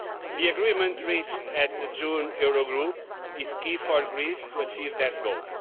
The agreement reached at the June Eurogroup is key for Greece to achieve that goal.